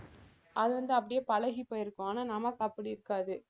அது வந்து அப்படியே பழகிப் போயிருக்கும் ஆனால் நமக்கு அப்படி இருக்காது